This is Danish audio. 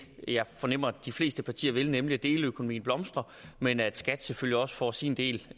jeg fornemmer de fleste partier vil nemlig deleøkonomien blomstre men at skat selvfølgelig også får sin del